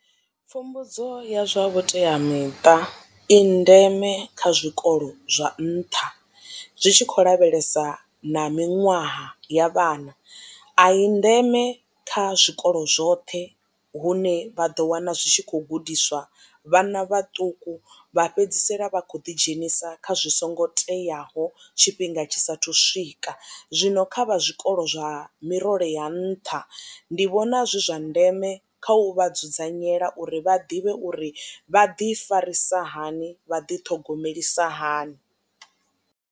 Pfumbudzo ya zwa vhuteamiṱa i ndeme kha zwikolo zwa nṱha zwi tshi khou lavhelesa na miṅwaha ya vhana a i ndeme kha zwikolo zwoṱhe hune vha ḓo wana zwi tshi kho gudiswa vhana vhaṱuku vha fhedzisela vha khou ḓi dzhenisa kha zwi songo teaho tshifhinga tshisa thu swika zwino kha vha zwikolo zwa mirole ya nṱha ndi vhona zwi zwa ndeme kha u vha dzudzanyela uri vha ḓivhe uri vha ḓi farisa hani vha ḓi ṱhogomelisa hani.